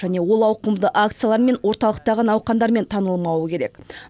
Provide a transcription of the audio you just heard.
және ол ауқымды акциялар мен орталықтағы науқандармен танылмауы керек